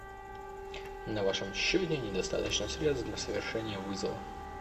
на вашем счете недостаточно средств для совершения вызова